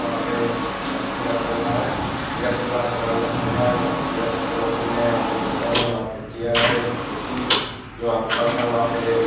वहाँ पे अथि रखा हुआ है जेरोक्ष वाला समान रखा हुआ है वहाँ पे जेरोक्ष के मशीन है यहाँ पे बोतेल है वहाँ पे चैयर है। कुर्सी वहाँ पे पंखा है वहाँ पे--